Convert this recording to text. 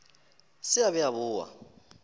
se a be a boa